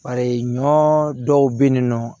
Bari ɲɔ dɔw be yen nɔ